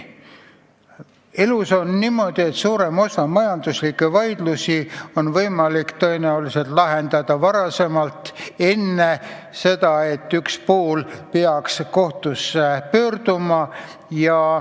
Elus on niimoodi, et suurem osa majandusvaidlusi on võimalik tõenäoliselt lahendada enne, kui üks pool kohtusse pöördub.